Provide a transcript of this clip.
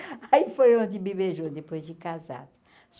Aí foi onde me beijou depois de casado.